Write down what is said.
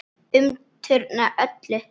Umturna öllu.